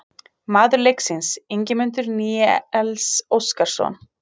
Maður leiksins: Ingimundur Níels Óskarsson